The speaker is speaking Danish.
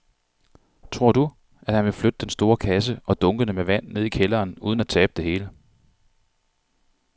Tror du, at han kan flytte den store kasse og dunkene med vand ned i kælderen uden at tabe det hele?